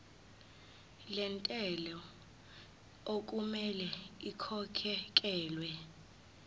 lentela okumele ikhokhekhelwe